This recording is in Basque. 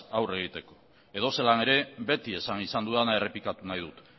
aurre egiteko edozelan ere beti esan izan dudana errepikatu nahi dut